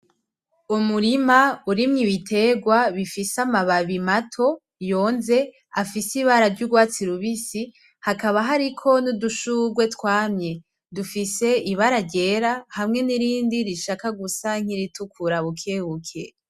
Umurima urimwo ibitegwa bifise amababi mato yonze afise ibara ry'urwatsi rubisi, hakaba hariko n'udushurwe twamye dufise ibara ryera hamwe n'irindi rishaka gusa nk'iritukura bukebuke.